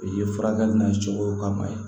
I ye furakɛli n'a cogo kama ye